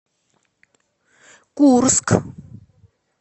курск